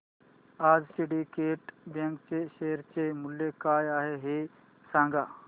आज Syndicate Bank च्या share चे मूल्य काय आहे हे सांगा